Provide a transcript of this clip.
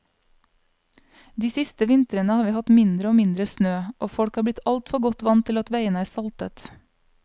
De siste vintrene har vi hatt mindre og mindre snø, og folk har blitt altfor godt vant til at veiene er saltet.